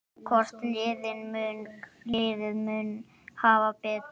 Hvort liðið mun hafa betur?